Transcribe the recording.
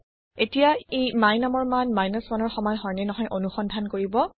এতিয়া ই my numৰ মান 1ৰ সমান হয় নে নহয় অনুসন্ধান কৰিব